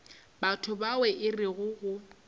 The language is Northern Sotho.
batho bao e rego ge